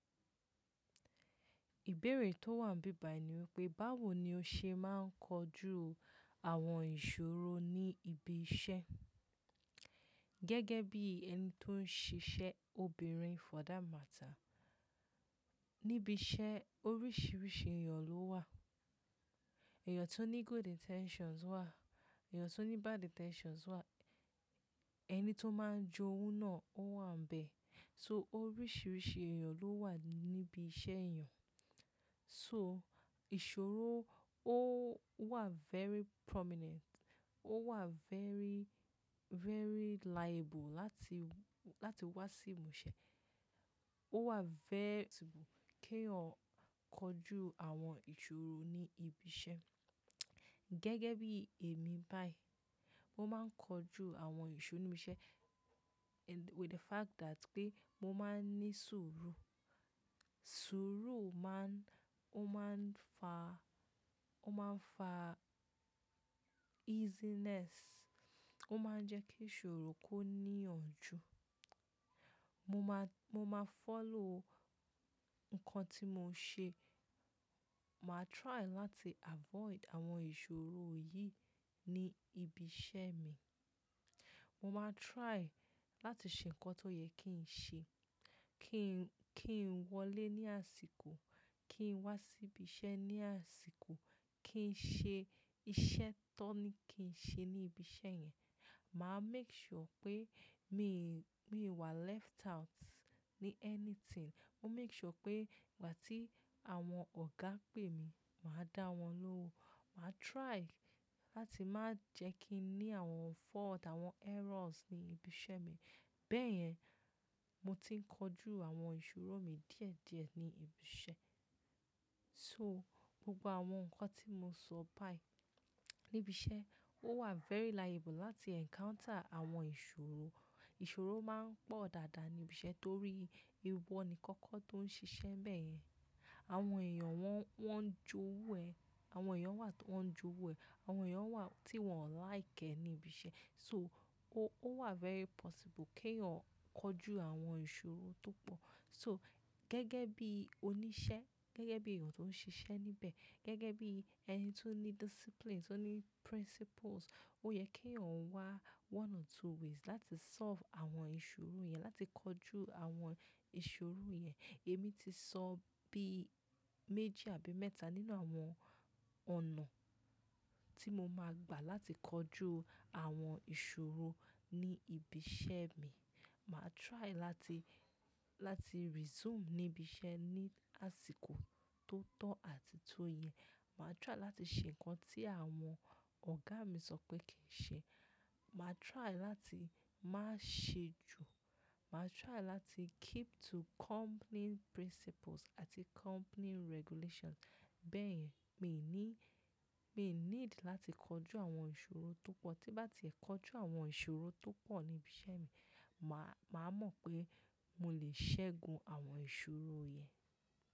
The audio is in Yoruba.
Ìbéèrè tó wà bíbà níwípé, báwo ni o ṣe máa ń kojú àwọn ìṣòro ní ibi iṣẹ́ gẹ́gẹ́ bí ẹni tó ń ṣiṣẹ́ obìnrin? For that matter, níbi iṣẹ́ oríṣiríṣi èèyàn ló wà. Èèyàn tó ní good intentions wà, èèyàn tó ní bad intentions wà, ẹni tó máa ń jowu náà ó wà níbẹ̀. So oríṣiríṣi èèyàn ló wà níbi iṣẹ́ èèyàn. So ìṣòro ó wà very prominent, ó wà very, very liable láti, láti wá sí ìmúṣẹ. Ó wà very possible kí ẹ̀yan ó kojú àwọn ìṣòro ní ibi iṣẹ́. Gẹ́gẹ́ bí èmi báyìí, mo máa ń kojú àwọn ìṣòro níbi iṣẹ́ with the fact that pé mo máa ń ní sùúrù. Sùúrù máa ń, ó máa ń fa, ó máa ń fa easiness, ó máa ń jẹ́ kí ìṣòro kó níyànjú. Mo máa, mo máa follow nǹkan tí mo ṣe. Màá try láti avoid àwọn ìṣòro yìí ní ibi iṣẹ́ mi. Mo máa try láti ṣe nǹkan tó yẹ kí n ṣe. Kí n, kí n wọlé ní àsìkò, kí n wá sí ibi iṣẹ́ ní àsìkò, kí n ṣe iṣẹ́ tó ní kí n ṣe ní ibi iṣẹ́ yẹn. Màá make sure pé mi, mí wà left out ní anything. Mo make sure pé ìgbà tí àwọn ọ̀gá pè mí, màá dá wọn lóun. Màá try láti má jẹ́ kí n ní àwọn fault, àwọn errors ní ibi iṣẹ́ mi. Bẹ́ẹ̀ yẹn, mo ti ń kojú àwọn ìṣòro mi díẹ̀ díẹ̀ ní ibi iṣẹ́. So gbogbo àwọn nǹkan tí mo sọ báyìí ní ibi iṣẹ́ ó wà very liable láti encounter àwọn ìṣòro. Ìṣòro máa ń pọ̀ dáadáa ní ibi iṣẹ́ torí ìwọ nìkan kọ́ tó ń ṣiṣẹ́ bẹ́ẹ̀ yẹn. Àwọn èèyàn wọ́n, wọ́n ń jowu ẹ. Àwọn èèyàn wà tó ń jowu ẹ, àwọn èèyàn wà tí wọ́n ò like ẹ ní ibi iṣẹ́. So ó wà very possible kí ẹ̀yin ó kojú àwọn ìṣòro tó pọ̀. So gẹ́gẹ́ bí oníṣẹ́, gẹ́gẹ́ bí èèyàn tó ń ṣiṣẹ́ níbẹ̀, gẹ́gẹ́ bí ẹni tó ní disciplines, tó ní principles, ó yẹ kí ẹ̀yan wá one or two ways láti solve àwọn ìṣòro yẹn, láti kojú àwọn ìṣòro yẹn. Èmi ti sọ bí méjì àbí mẹ́ta nínú àwọn ọ̀nà tí mo máa gbà láti kojú àwọn ìṣòro ní ibi iṣẹ́ mi. Màá try láti, láti resume ní ibi iṣẹ́ ní àsìkò tó tọ́ àti tó yẹ. Màá try láti ṣe nǹkan tí àwọn ọ̀gá mi sọ pé kí n ṣe. Màá try láti má ṣe jù. Màá try láti keep to company principles àti company regulations. Bẹ́ẹ̀ yẹn, mi ò ní, mi ò need láti kojú àwọn ìṣòro tó pọ̀. Tí bá ti ẹ kojú àwọn ìṣòro tó pọ̀ ní ibi iṣẹ́ mi, màá, màá mọ̀ pé mo lè ṣẹ́gun àwọn ìṣòro yẹn.